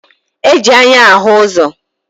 E ji anya ahụ ụzọ